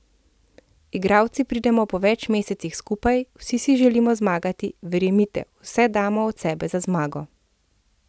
Igralci pridemo po več mesecih skupaj, vsi si želimo zmagati, verjemite, vse damo od sebe za zmago.